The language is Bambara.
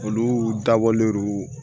Olu dabɔlen don